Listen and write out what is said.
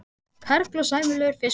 Karl: Og sæmilegur fiskur?